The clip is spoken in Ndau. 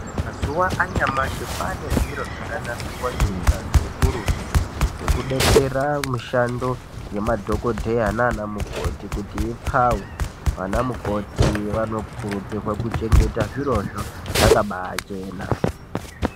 Mazuva anyamashi kwane zviro zvakanasirwa ngeunyanzvi ukurutu zvekudetsera mishando yemadhokodheya nanamukoti kuti ipfawe anamukoti vanokurudzirwa kuchengeta zvirozvo zvakabachena.